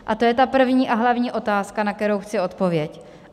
A to je ta první a hlavní otázka, na kterou chci odpověď.